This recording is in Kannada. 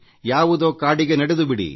ಯಾವುದೋ ಕಾಡಿಗೆ ನಡೆದುಬಿಡಿ